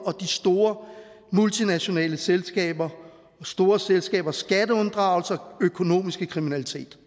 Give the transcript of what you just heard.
og de store multinationale selskaber store selskabers skatteunddragelser økonomisk kriminalitet